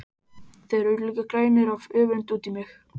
Þeir eru líka grænir af öfund út í mig.